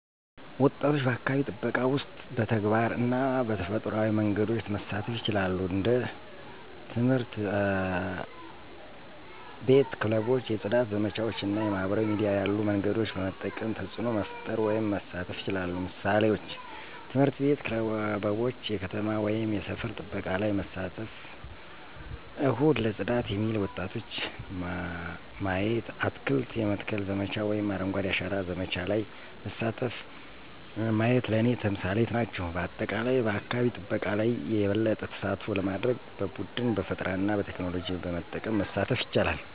ወጣቶች በአካባቢ ጥበቃ ውስጥ በተግባር እና በፈጠራዊ መንገዶች መሳተፉ ይችላሉ። እንደ ትምህርት አቤት ክበቦች የፅዳት ዘመቻዎች እና የማህበራዊ ሚዲያ ያሉ መንገዶችን በመጠቀም ተፅዕኖ መፈጠር ወይም መሳተፍ ይችላሉ። ምሳሌዎች፦ ትምህርት ቤት ክበቦች የከተማ ወይም የሰፈር ጥበቃ ላይ መሳተፍቸው፣ እሁድ ለጽዳት የሚሉ ወጣቶች ማየቲ፣ አትክልት የመትከል ዘመቻ ወይም አረንጓዴ አሻራ ዘመቻ ለይ መሳተፉ ማየት ለኔ ተምሳሌት ናቸው። በአጠቃላይ በአካባቢ ጠበቃ ለይ የበለጠ ተሳትፎ ለማድርግ በቡድን፣ በፈጠራና በቴክኖሎጂ በመጠቀም መሳተፍ ይቻላሉ።